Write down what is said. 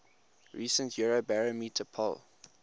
recent eurobarometer poll